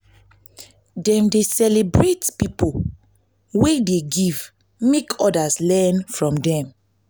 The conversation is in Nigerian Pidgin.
dem dey celebrate pipo wey dey give make odas learn from dem.